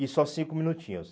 E só cinco minutinhos.